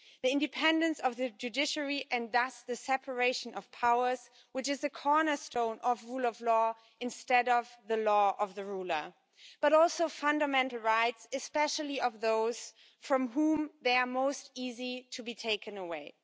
The independence of the judiciary and thus the separation of powers, which is the cornerstone of rule of law instead of the law of the ruler, but also fundamental rights, especially of those from whom they are most easy to be taken away.